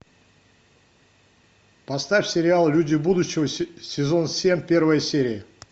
поставь сериал люди будущего сезон семь первая серия